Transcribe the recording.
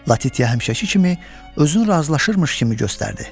Latitiya həmişəki kimi özünü razılaşırmış kimi göstərdi.